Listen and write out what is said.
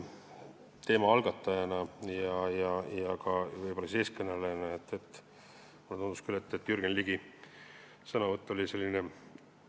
Teema algatajana ja võib-olla eestkõnelejana tundus mulle küll, et Jürgen Ligi sõnavõtt oli patroneeriv.